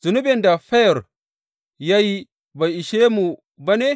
Zunubin da Feyor ya yi bai ishe mu ba ne?